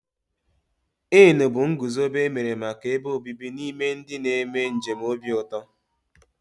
Inn bụ ngụzobe emere màkà ebe obibi n'ime ndị na -eme njem obi ụtọ.